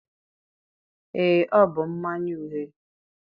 ee, ọ bụ mmanya uhie